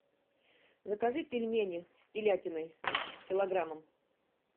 закажи пельмени с телятиной килограммом